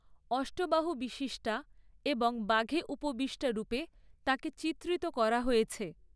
অষ্টবাহু বিশিষ্টা এবং বাঘে উপবিষ্টা রূপে তাঁকে চিত্রিত করা হয়েছে।